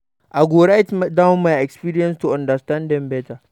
I go write down my experiences to understand them better.